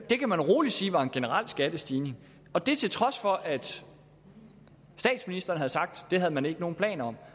det kan man rolig sige var en generel skattestigning og det til trods for at statsministeren havde sagt at det havde man ikke nogen planer om